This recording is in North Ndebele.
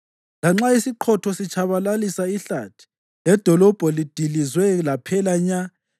Lanxa isiqhotho sitshabalalisa ihlathi ledolobho lidilizwe laphela nya,